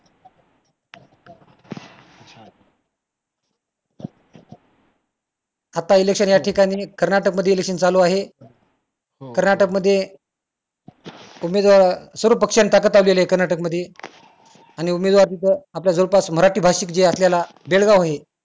आता election या ठिकाणी कर्नाटकमध्ये election चालू आहे कर्नाटकमध्ये तुम्ही जर सर्व पक्षाने ताकद लावलेली आहे कर्नाटकमध्ये आणि उमेदवारी पण आपल्या जवळपास मराठी भाषिक जे असलेला बेळगाव आहे